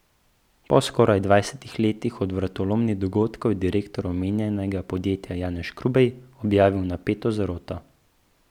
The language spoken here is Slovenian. Po skoraj dvajsetih letih od vratolomnih dogodkov je direktor omenjenega podjetja Janez Škrubej objavil napeto zaroto.